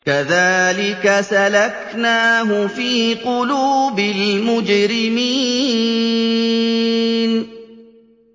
كَذَٰلِكَ سَلَكْنَاهُ فِي قُلُوبِ الْمُجْرِمِينَ